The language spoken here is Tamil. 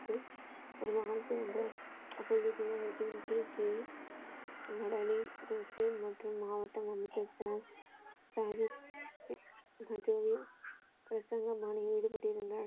ஒரு மகன் பிறந்தான் அப்பொழுது குரு பிங் கீழ் மற்றும் மாவட்ட அமைச்சர்கள சாகிப் கஜோல பிரசனை மாலையில் ஈடுபட்டிருந்தார்.